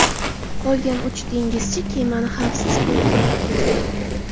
Qolgan uch dengizchi kemani xavfsiz portga olib ketgan.